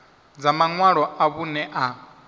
dza maṅwalo a vhuṋe a